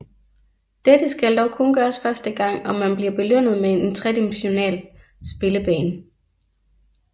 Dette skal dog kun gøres første gang og man bliver belønnet med en tredimensional spillebane